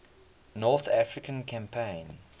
north african campaign